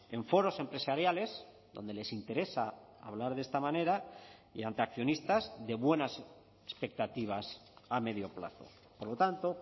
en foros empresariales donde les interesa hablar de esta manera y ante accionistas de buenas expectativas a medio plazo por lo tanto